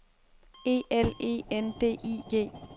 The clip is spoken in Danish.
E L E N D I G